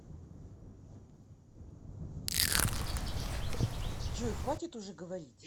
джой хватит уже говорить